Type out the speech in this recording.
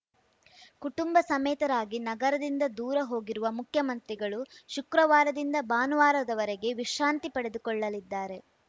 ಕುಟುಂಬ ಸಮೇತರಾಗಿ ನಗರದಿಂದ ದೂರ ಹೋಗಿರುವ ಮುಖ್ಯಮಂತ್ರಿಗಳು ಶುಕ್ರವಾರದಿಂದ ಭಾನುವಾರದವರೆಗೆ ವಿಶ್ರಾಂತಿ ಪಡೆದುಕೊಳ್ಳಲಿದ್ದಾರೆ